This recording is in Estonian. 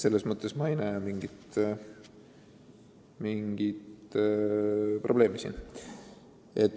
Selles mõttes ma ei näe siin mingit probleemi.